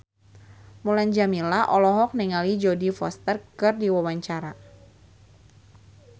Mulan Jameela olohok ningali Jodie Foster keur diwawancara